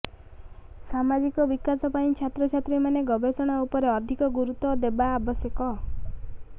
ସାମାଜିକ ବିକାଶ ପାଇଁ ଛାତ୍ରଛାତ୍ରୀମାନେ ଗବେଷଣା ଉପରେ ଅଧିକ ଗୁରୁତ୍ୱ ଦେବା ଆବଶ୍ୟକ